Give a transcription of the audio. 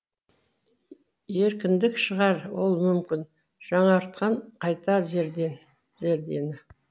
еркіндік шығар ол мүмкін жаңартқан қайта зердені